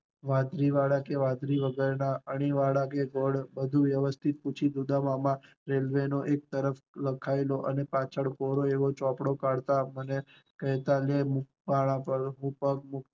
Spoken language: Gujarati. વાંદરીવાળા કે વાંદરી વગર ના, અણીવાળા કે વધુ વ્યવસ્થિત પૂછી ને ઉદામમાં રેલવે નો એક તરફ લખાયેલો અને પાછળ કોરો એવો ચોપડો કાઢતા, લે આમ પગ મૂક